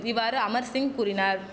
இவ்வாறு அமர்சிங் கூறினார்